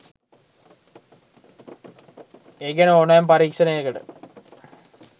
ඒ ගැන ඕනෑම පරීක්ෂණයකට